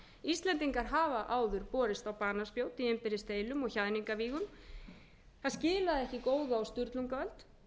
íslendingar hafa áður borist á banaspjót í innbyrðis deilum og hjaðningavígum það skilaði ekki góðu á sturlungaöld